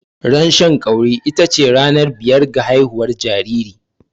Ran Shan ƙauri ita ce ranar biyar ga haihuwar jariri.